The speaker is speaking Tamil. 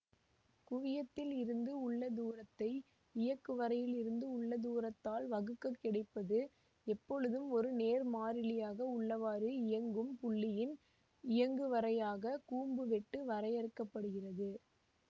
குவியத்திலிருந்து உள்ள தூரத்தை இயக்குவரையிலிருந்து உள்ள தூரத்தால் வகுக்கக் கிடைப்பது எப்பொழுதும் ஒரு நேர் மாறிலியாக உள்ளவாறு இயங்கும் புள்ளியின் இயங்குவரையாகக் கூம்பு வெட்டு வரையறுக்க படுகிறது